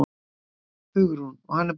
Hugrún: Og hann er bara góður?